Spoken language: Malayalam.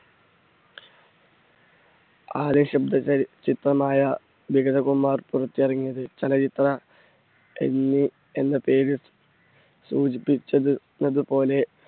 ചിത്രമായ വിഗതകുമാരൻ പുറത്തിറങ്ങിയത്. ചലച്ചിത്ര എന്ന് എന്ന പേര് സൂചിപ്പിച്ചത്~തുപോലെ